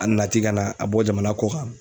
A nana ten ka na ka bɔ jamana kɔ kan.